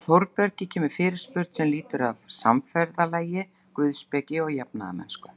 Frá Þórbergi kemur fyrirspurn sem lýtur að samferðalagi guðspeki og jafnaðarmennsku.